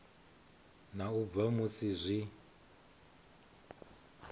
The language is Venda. na u bva musi zwi